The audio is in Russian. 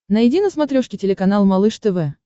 найди на смотрешке телеканал малыш тв